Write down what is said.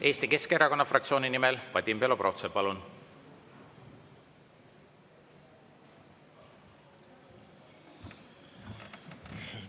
Eesti Keskerakonna fraktsiooni nimel Vadim Belobrovtsev, palun!